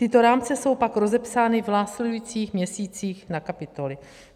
Tyto rámce jsou pak rozepsány v následujících měsících na kapitoly.